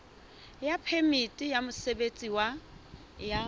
ya phemiti ya mosebetsi ya